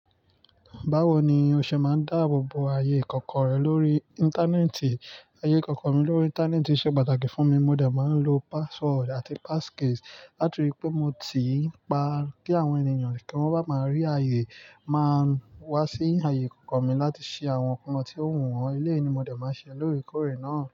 Báwo ni o ṣe máa ń dáàbò bo ayé ikọ̀ko rẹ lórí Íńtánẹ́ẹ̀tì? Ayé ikọ̀ọ̀ko mi lórí Íńtánẹ́ẹ̀tì ṣe pàtàkì fún mi. Mo dẹ̀ máa ń lo password àti passcode, láti ri pé mo ti ń pa kí àwọn ènìyàn kí wọ́n máa rí ayé, máa wá sí ayé kọ̀ọ̀kan mi láti ṣe àwọn nǹkan tí ó wù wọ́n. Eléyìí è ní mo dẹ̀ máa ṣe lórí kórè náà.